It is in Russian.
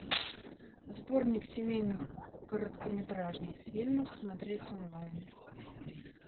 сборник семейных короткометражных фильмов смотреть онлайн